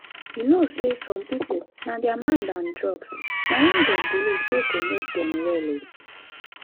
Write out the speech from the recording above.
you know say some people na thier mind and drugs na him them believe say go make them well o.